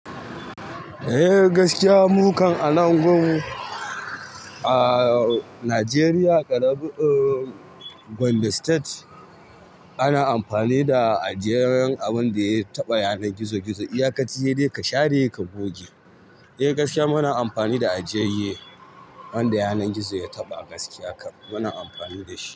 Eh gaskiya, mu kan a nan gun a Nigeria, Gombe State ana amfani da ajiyayyen abin da ya taɓa yanar gizo gizo. Iya ka ci ye, ka share, ka goge. Eh gaskiya muna amfani da ajiyaye wanda yanar gizo ya taɓa gaskiya kan muna amfani da shi.